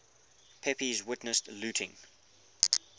pepys witnessed looting